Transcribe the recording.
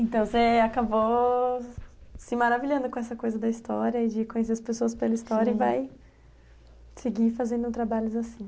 Então, você acabou se maravilhando com essa coisa da história e de conhecer as pessoas pela história e vai seguir fazendo trabalhos assim.